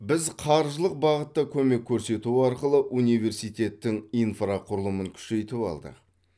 біз қаржылық бағытта көмек көрсету арқылы университеттің инфрақұрылымын күшейтіп алдық